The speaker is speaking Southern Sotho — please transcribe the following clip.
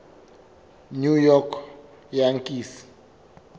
new york yankees